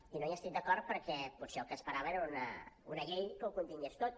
i no hi estic d’acord perquè potser el que esperava era una llei que ho contingués tot